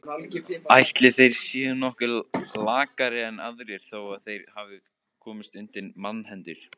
Ætli þeir séu nokkuð lakari en aðrir þó þeir hafi komist undir mannahendur.